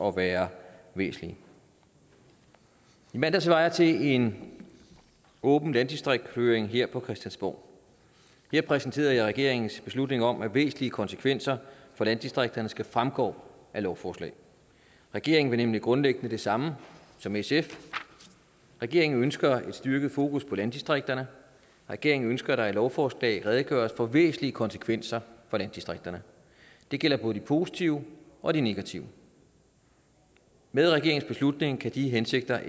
at være væsentlige i mandags var jeg til en åben landdistriktshøring her på christiansborg her præsenterede jeg regeringens beslutning om at væsentlige konsekvenser for landdistrikterne skal fremgå af lovforslag regeringen vil nemlig grundlæggende det samme som sf regeringen ønsker et styrket fokus på landdistrikterne og regeringen ønsker at der i lovforslag redegøres for væsentlige konsekvenser for landdistrikterne det gælder både de positive og de negative med regeringens beslutning kan de hensigter